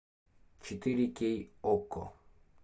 четыре кей окко